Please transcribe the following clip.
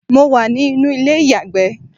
mo wà ní inú ilé iyagbe